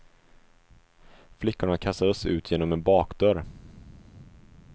Flickorna kastades ut genom en bakdörr.